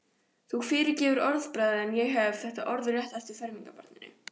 Þú fyrirgefur orðbragðið en ég hef þetta orðrétt eftir fermingarbarninu.